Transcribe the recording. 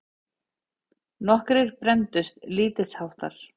Nokkrir brenndust lítilsháttar.